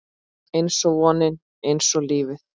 Einsog vonin, einsog lífið